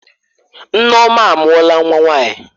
Nneoma amuola nwa nwanyi.